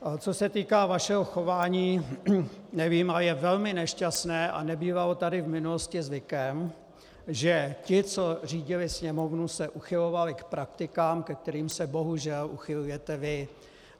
Co se týká vašeho chování, nevím, a je velmi nešťastné a nebývalo tady v minulosti zvykem, že ti, co řídili sněmovnu, se uchylovali k praktikám, ke kterým se bohužel uchylujete vy.